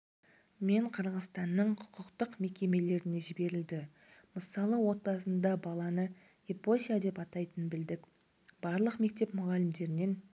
мен қырғызстанның құқықтық мекемелеріне жіберілді мысалы отбасында баланы епося деп атайтынын білдік барлық мектеп мұғалімдерінен